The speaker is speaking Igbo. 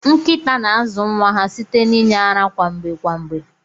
Nkita na azu nwa ha site na inye ara kwa mgbe kwa mgbe.